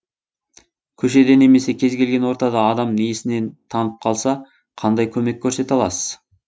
көшеде немесе кез келген ортада адам есінен танып қалса қандай көмек көрсете аласыз